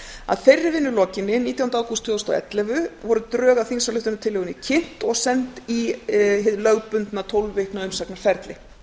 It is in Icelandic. að þeirri vinnu lokinni nítjánda ágúst tvö þúsund og ellefu voru drög að þingsályktunartillögunni kynnt og send í hið lögbundna tólf vikna umsagnarferli